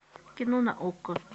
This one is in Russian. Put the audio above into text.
кино на окко